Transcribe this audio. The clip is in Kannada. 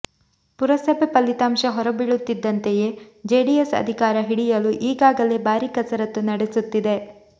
ಪುರಸಭೆ ಫಲಿತಾಂಶ ಹೊರಬೀಳುತ್ತಿದ್ದಂತೆಯೇ ಜೆಡಿಎಸ್ ಅಧಿಕಾರ ಹಿಡಿಯಲು ಈಗಾಗಲೇ ಭಾರೀ ಕಸರತ್ತು ನಡೆಸುತ್ತಿದೆ